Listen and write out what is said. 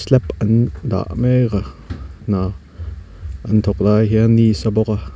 an dah mek a hna an thawk lai hian ni a sa bawk a.